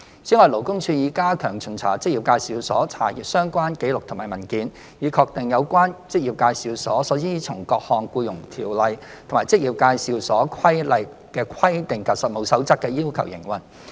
此外，勞工處已加強巡查職業介紹所，查閱相關紀錄及文件，以確定有關職業介紹所依從各項《僱傭條例》和《職業介紹所規例》的規定及《實務守則》的要求營運。